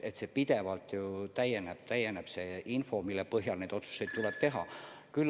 Info pidevalt täieneb – täieneb see info, mille põhjal neid otsuseid tuleb teha.